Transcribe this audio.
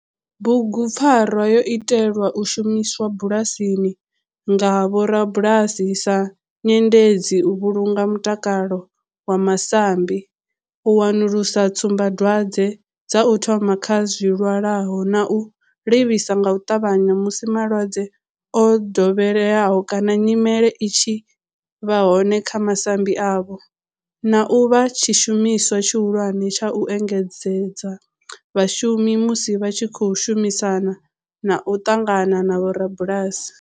Bugupfarwa yo itelwa u shumiswa bulasini nga vhorabulasi sa nyendedzi u vhulunga mutakalo wa masambi, u wanulusa tsumbadwadzwe dza u thoma kha zwilwalaho na u livhisa nga u ṱavhanya musi malwadze o dovheleaho kana nyimele i tshi vha hone kha masambi avho, na u vha tshishumiswa tshihulwane tsha u engedzedza vhashumi musi vha tshi khou shumisana na u ṱangana na vhorabulasi.